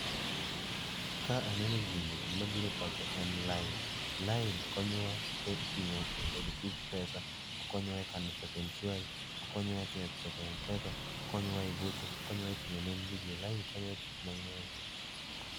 Ka aneno gini gimabiro e pacha en lain. Lain konyowa e receive pesa, konyowa kano pesa emshwari, okonyowa e keto pesa e mpesa okonyowa e gocho, okonyowa e ting'o nembni ji. lain konyowa e tije mang'eny.